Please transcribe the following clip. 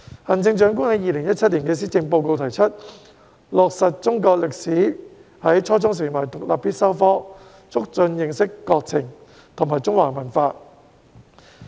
行政長官在2017年的施政報告提出落實中國歷史在初中成為獨立必修科，促進認識國情和中華文化。